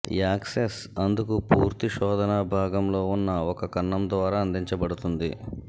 access అందుకు పూర్తి శోధన భాగంలో ఉన్న ఒక కన్నం ద్వారా అందించబడుతుంది